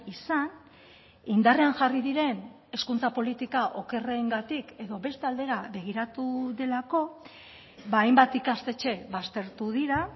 izan indarrean jarri diren hezkuntza politika okerrengatik edo beste aldera begiratu delako hainbat ikastetxe baztertu dira